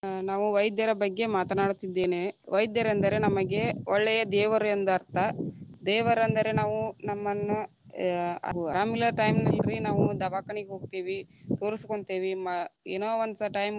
ಅ ನಾವು ವೈದ್ಯರ ಬಗ್ಗೆ ಮಾತನಾಡುತ್ತಿದ್ದೇನೆ, ವೈದ್ಯರು ಎಂದರೇ ನಮಗೆ ಒಳ್ಳೆಯ ದೇವರು ಎಂದರ್ಥ. ದೇವರ ಅಂದರೆ ನಾವು ನಮ್ಮನ್ನು ಯ ಅರಾಮಿಲ್ಲದ time ನಲ್ರಿ ನಾವು ದವಾಕನಿಗ ಹೋಗ್ತೀವಿ, ತೋರಿಸ್ಗೊಂತೀವಿ ಮ ಏನೊ once time .